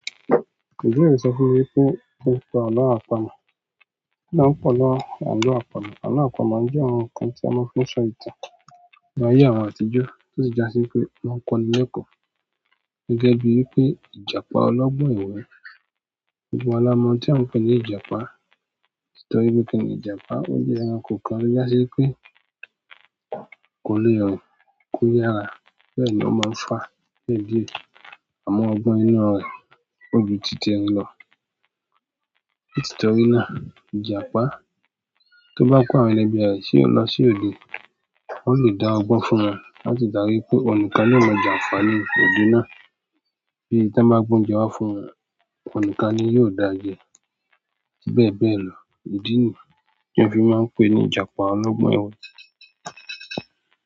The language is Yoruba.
Ǹjẹ́ o ti rò sọ fún mi wípé o ń pọ̀ lọ àlọ́ àpamọ̀? Kí lọ ń pọ̀ lọ àlọ́ àpamọ̀? Àlọ́ àpamọ́ jẹ́ àwọn nǹkan tí a máa ń fi so ìtàn láyé àwọn àtijọ́ tó sì jásí pé máa ń kọ́ni l'ẹ̀kọ́. Gẹ́gẹ́ bíi wípé Ìjàpá ọlọ́gbọ́n ẹ̀we. Gbogbo wa la mo oun tí a ń pè ní Ìjàpá? Toti wípé kíni Ìjàpá, ó jẹ́ ẹranko kan tó jásí pé kò lè rìn ko yàrá. Bẹ́ẹ̀ ni ó máa ń fa ẹ̀jẹ̀ àwọn ọgbon inú rẹ̀, ó ju títi ẹrin lọ. Ìtìtọ́rí náà, Ìjàpá tó bá pa àwọn ẹlẹ́gbe rẹ̀, tí ó lọ sí òde, wọ́n lè dá ọgbọ́n fún wọn, láti darí pé ounìkan ni ó lọ̀ jànfaani nínú òde náà. Bí to ba gbe oúnjẹ wá fún wọn, ounikan ni yóò dáa jẹ. Bẹ́ẹ̀ bẹ́ẹ̀ lọ. Ìdí nìí tí a fi máa ń pè ní Ìjàpá ọlọ́gbọ́n ẹ̀we.